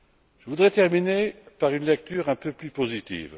Je voudrais terminer par une lecture un peu plus positive.